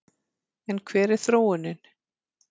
En hver er þróunin?